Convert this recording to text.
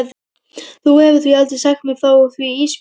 Þú hefur aldrei sagt mér frá því Ísbjörg mín.